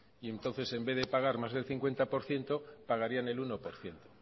y entonces en vez de pagar más del cincuenta por ciento pagarían el uno por ciento